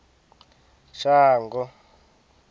shango